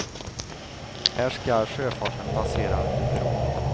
Här ska sjöfarten passera under bron.